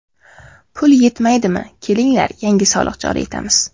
Pul yetmaydimi kelinglar, yangi soliq joriy etamiz.